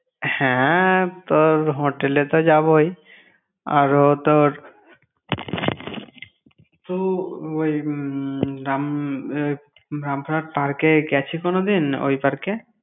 হ্যাঁএ, তোর hotel এ তো যাবই আরও তোর একটু ওই উম রাম~ park এ গ্যাছি কোনোদিন? ওই park এ।